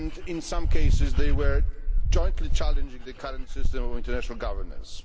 In some cases they were jointly challenging the current system of international governance.